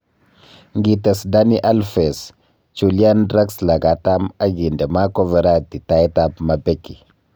Ngites Dani Alfes, Chulian Draxler katam ak inde Marco Veratti tait ab mapeki